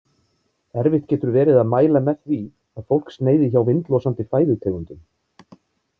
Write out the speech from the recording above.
Erfitt getur verið að mæla með því að fólk sneiði hjá vindlosandi fæðutegundum.